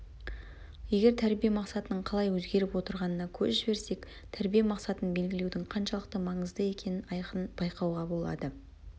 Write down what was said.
егер тәрбие мақсатының қалай өзгеріп отырғанына көз жіберсек тәрбие мақсатын белгілеудің қаншалықты маңызды екенін айқын байқауға болады